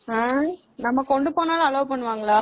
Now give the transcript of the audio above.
ஆஹ் நம்ம கொண்டு போனாலும் allow பண்ணுவாங்களா?